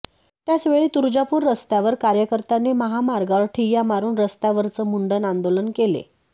त्याचवेळी तुळजापूर रस्त्यावर कार्यकर्त्यांनी महामार्गावर ठिय्या मारून रस्त्यावरच मुंडण आंदोलन केले